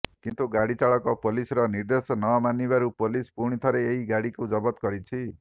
କିନ୍ତୁ ଗାଡି ଚାଳକ ପୋଲିସର ନିର୍ଦ୍ଦେଶ ନମାନିବାରୁ ପୋଲିସ୍ ପୁଣି ଥରେ ଏହି ଗାଡ଼ିକୁ ଜବତ କରିଛି